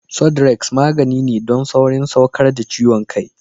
Sudrex magani ne don saurin saukar da ciwon kai.